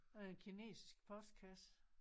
Her en kinesisk postkasse